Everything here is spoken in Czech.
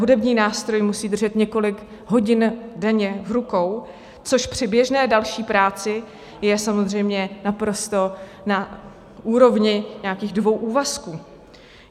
Hudební nástroj musí držet několik hodin denně v rukou, což při běžné další práci je samozřejmě naprosto na úrovni nějakých dvou úvazků.